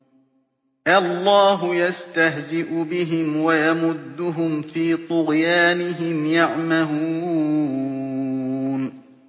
اللَّهُ يَسْتَهْزِئُ بِهِمْ وَيَمُدُّهُمْ فِي طُغْيَانِهِمْ يَعْمَهُونَ